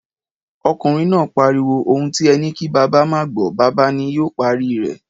Okunrin naa pariwo, 'Ohun ti e ni ki baba maa a gbo, baba ni yoo pari re'